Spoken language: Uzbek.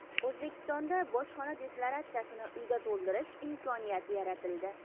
O‘zbekistonda bojxona deklaratsiyasini uyda to‘ldirish imkoniyati yaratildi.